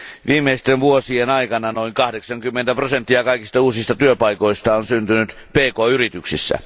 Viimeisten vuosien aikana noin 80 prosenttia kaikista uusista työpaikoista on syntynyt pk yrityksissä.